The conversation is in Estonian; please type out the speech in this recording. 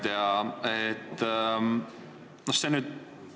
Hea ettekandja!